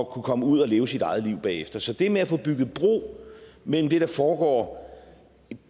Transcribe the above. kunne komme ud og leve sit eget liv bagefter så det med at få bygget bro mellem det der foregår